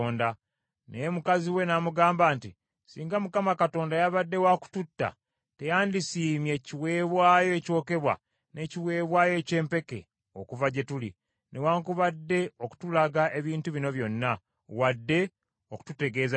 Naye mukazi we n’amugamba nti, “Singa Mukama Katonda yabadde wa kututta, teyandisiimye kiweebwayo ekyokebwa n’ekiweebwayo eky’empeke okuva gye tuli, newaakubadde okutulaga ebintu bino byonna, wadde okututegeeza kino.”